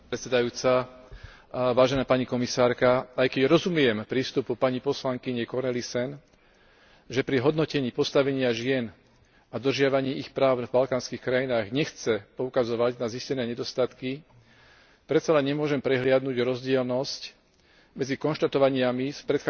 Aj keď rozumiem prístupu pani poslankyne Cornelissen, že pri hodnotení postavenia žien a dodržiavaní ich práv v balkánskych krajinách nechce poukazovať na zistené nedostatky, predsa len nemôžem prehliadnuť rozdielnosť medzi konštatovaniami z